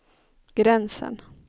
gränsen